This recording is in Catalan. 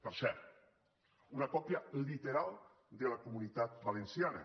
per cert una còpia literal de la comunitat valenciana